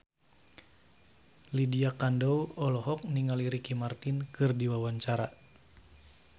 Lydia Kandou olohok ningali Ricky Martin keur diwawancara